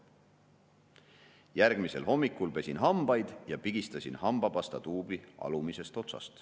// järgmisel hommikul / pesin hambaid / ja pigistasin hambapastatuubi / alumisest otsast.